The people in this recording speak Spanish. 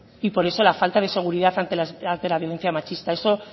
y por eso la falta de seguridad ante la violencia machista eso